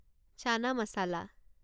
চানা মচলা